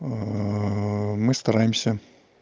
мы стараемся